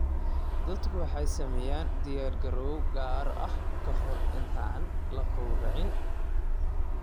Dadku waxay sameeyaan diyaargarow gaar ah ka hor inta aan la gowracin.